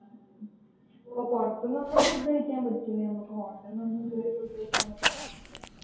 ഓ പുറത്തുന്നൊന്നും food കഴിക്കാൻ പറ്റൂല നമ്മക്ക് hotel ന്നൊന്നും ഇത് വരെ food കഴിക്കാൻ പറ്റാത്ത അവസ്ഥയാ